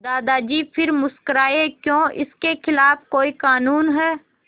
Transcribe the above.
दादाजी फिर मुस्कराए क्यों इसके खिलाफ़ कोई कानून है